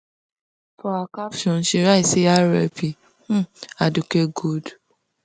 for her caption she write say rip um aduke gold